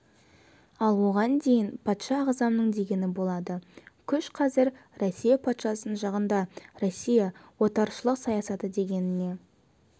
ал оған дейін патша ағзамның дегені болады күш қазір россия патшасының жағында россия отаршылық саясаты дегеніне